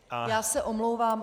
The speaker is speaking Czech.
Já se omlouvám.